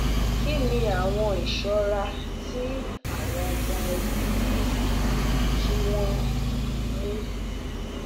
Kí ni awọn iṣọra ti awọn ọmọ ẹbi yẹ ki wọn mu?